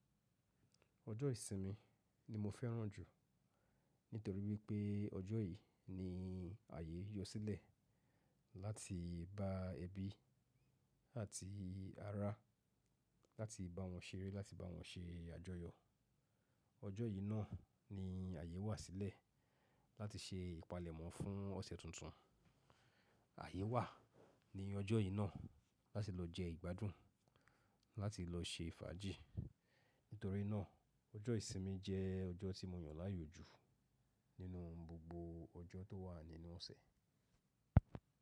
Ọjọ́ ìsinmi ni mo fẹ́ràn jù nítorí wípé ọjọ́ yìí ni àyè yó sílẹ̀ láti bá ebi àti ará, láti bá won ṣeré, láti bá won se àjọyọ̀. Ọjọ́ yìí náà ni àyè wà sílẹ̀ láti se ìpalẹ̀mọ́ fún ọṣẹ̀ tuntun. Àyè wà ni ọjọ́ yìí náà láti lọ jẹ ìgbádùn, láti lọ ṣe fàájì. Nítorí náà, ọjọ́ ìsinmi jẹ́ ọjọ́ tí mo yàn láàyò jù nínú gbogbo ọjọ́ tó wà nínú ọṣẹ̀.